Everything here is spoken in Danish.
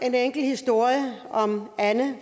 en enkelt historie om anne